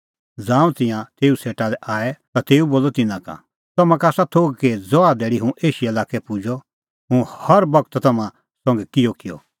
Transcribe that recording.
ज़ांऊं तिंयां तेऊ सेटा लै आऐ ता तेऊ बोलअ तिन्नां का तम्हां का आसा थोघ कि ज़हा धैल़ी हुंह एशिया लाक्कै पुजअ हुंह हर बगत तम्हां संघै किहअ रहअ